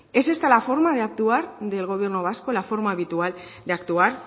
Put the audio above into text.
es esta la forma de actuar del gobierno vasco la forma habitual de actuar